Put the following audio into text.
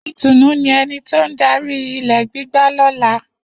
Itunu ni eni to n dari gbigba lola.